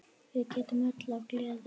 Við grétum öll af gleði.